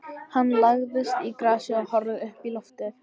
Hann lagðist í grasið og horfði uppí loftið.